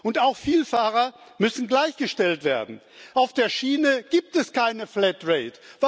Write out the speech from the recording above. Und auch Vielfahrer müssen gleichgestellt werden. Auf der Schiene gibt es keine Flatrate